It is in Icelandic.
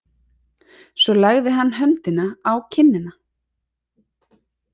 Svo lagði hann höndina á kinnina.